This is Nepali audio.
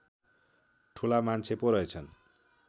ठूला मान्छे पो रहेछन्